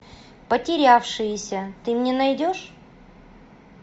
потерявшиеся ты мне найдешь